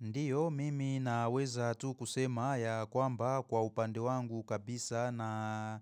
Ndiyo mimi naweza tu kusema ya kwamba kwa upande wangu kabisa na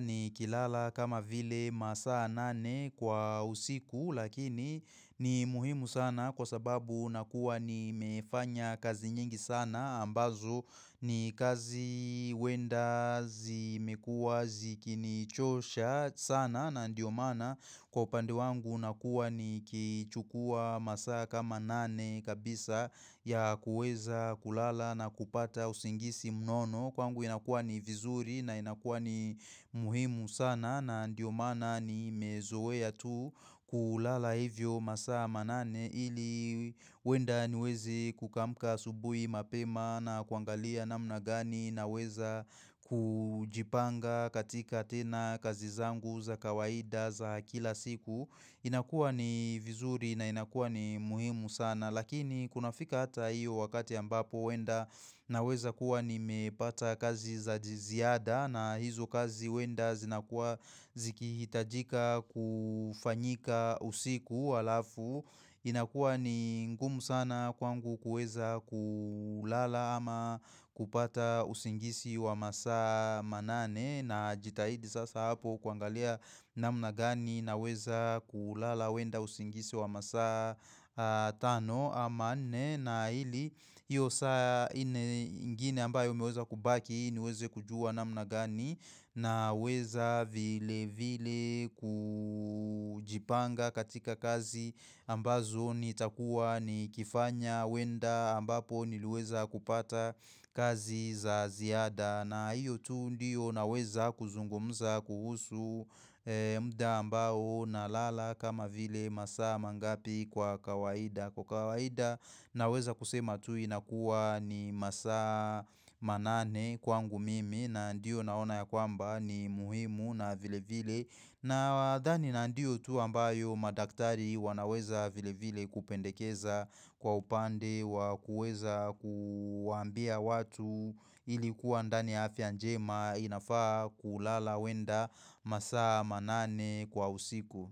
nikilala kama vile masaa nane kwa usiku lakini ni muhimu sana kwa sababu nakuwa nimefanya kazi nyingi sana ambazo ni kazi uenda zimekuwa zikinichosha sana na ndiyo mana kwa upande wangu nakuwa nikichukua masaa kama nane kabisa ya kuweza kulala na kupata usingisi mnono Kwangu inakuwa ni vizuri na inakuwa ni muhimu sana na ndiyo maana nimezoea tu kulala hivyo masaa manane ili uenda niweze kukamka asubui mapema na kuangalia namna gani Naweza kujipanga katika tena kazi zangu za kawaida za kila siku inakuwa ni vizuri na inakuwa ni muhimu sana Lakini kuna fika hata hiyo wakati ambapo uenda naweza kuwa nimepata kazi za jiziada na hizo kazi uenda zinakuwa zikihitajika kufanyika usiku alafu. Inakua ni ngumu sana kwangu kuweza kulala ama kupata usingisi wa masaa manane najitahidi sasa hapo kuangalia namna gani naweza kulala uenda usingisi wa masa tano ama nna ili hiyo saa ine ingine ambayo imeweza kubaki niweze kujua namna gani naweza vile vile kujipanga katika kazi ambazo nitakuwa nikifanya uenda ambapo niliweza kupata kazi za ziada na hiyo tu ndiyo naweza kuzungumza kuhusu mda ambao nalala kama vile masaa mangapi kwa kawaida. Kwa kawaida naweza kusema tu inakuwa ni masaa manane kwangu mimi na ndiyo naona ya kwamba ni muhimu na vile vile nawadhani na ndio tu ambayo madaktari wanaweza vile vile kupendekeza kwa upande wa kuweza kuambia watu ili kuwa ndani ya afya njema inafaa kulala uenda masaa manane kwa usiku.